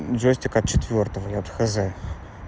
джойстик от четвёртого или от хз